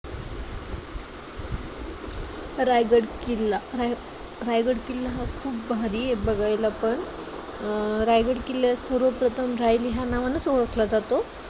रायगड किल्ला, राय रायगड किल्ला हा खूप भारी आहे बघायला पण, अं रायगड किल्ला सर्व प्रथम रायरी हा नावानेच ओळखला जातो.